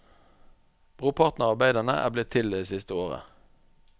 Brorparten av arbeidene er blitt til det siste året.